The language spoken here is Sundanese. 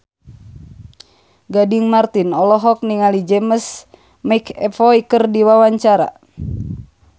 Gading Marten olohok ningali James McAvoy keur diwawancara